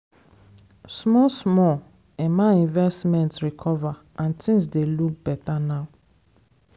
small small emma investment recover and things dey look beta now.